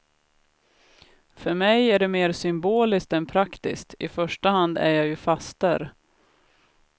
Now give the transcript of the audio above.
För mig är det mer symboliskt än praktiskt, i första hand är jag ju faster.